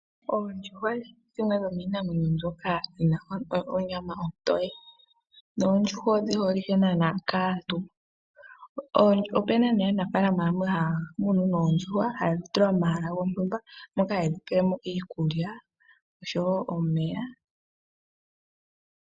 Oondjuhwa odho dhimwe dhomiinamwenyo mbyoka yina onyama ontoye. Oondjuhwa odhi holike naana kaantu. Opuna aanafaalama yamwe haya munu oondjuhwa, yedhi tula pomahala gontumba moka haye dhi pelemo iikulya osho wo omeya.